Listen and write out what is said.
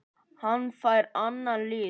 Hann fær annan lit.